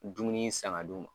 Dumuni in san ka d'u ma.